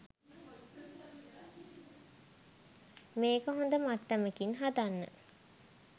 මේක හොඳ මට්ටමකින් හදන්න